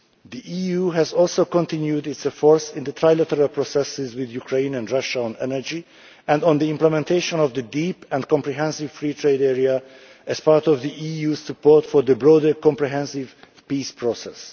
The EU has also continued its efforts in the trilateral processes with Ukraine and Russia on energy and on the implementation of the Deep and Comprehensive Free Trade Area as part of the EU's support for the broader comprehensive peace process.